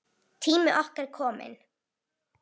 Tími okkar er kominn.